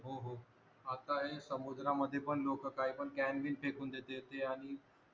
हा त आहे समुद्रामध्ये पण लोक काही पण क्यान बिन फेकून देते ते आणि